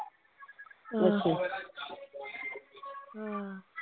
ਆਹੋ ਆਹ